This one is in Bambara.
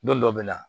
Don dɔ bɛ na